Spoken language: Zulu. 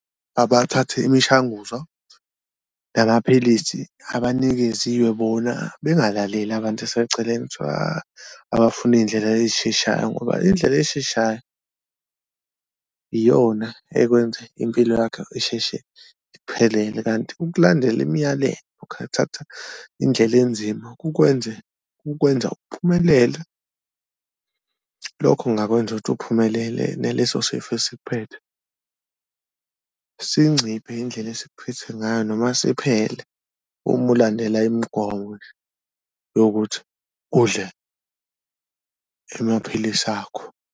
Abathathe imishanguzo namaphilisi abanikeziwe bona bengalaleli abantu aseceleni kuthiwa abafuna iy'ndlela eyisheshayo ngoba indlela esheshayo iyona ekwenza impilo yakho isheshe ikuphelele. Kanti ukulandela imiyalelo indlela enzima ukwenza ukwenza uphumelele, lokho kungakwenza ukuthi uphumelele neleso sifo esikuphethe sinciphe indlela esikuphethe ngayo noma siphele uma ulandela imigomo yokuthi udle amaphilisi akho.